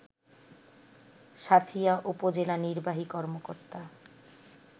সাঁথিয়া উপজেলা নির্বাহী কর্মকর্তা